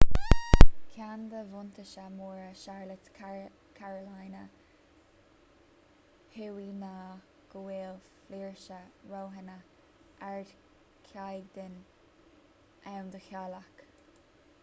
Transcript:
ceann de bhuntáistí móra charlotte carolina thuaidh ná go bhfuil flúirse roghanna ardchaighdeáin ann do theaghlaigh